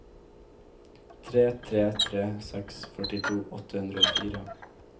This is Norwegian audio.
tre tre tre seks førtito åtte hundre og fire